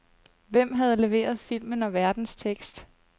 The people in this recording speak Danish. Hvem havde leveret filmen og værtens tekst?